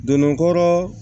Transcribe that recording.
Donnen kɔrɔ